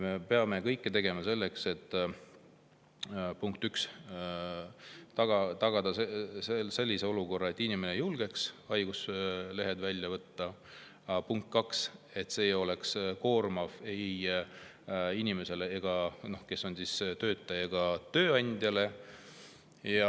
Me peame tegema kõik selleks, punkt üks, et tagada selline olukord, et inimene julgeks haiguslehe välja võtta, ja punkt kaks, et see ei oleks koormav ei töötajale ega tööandjale.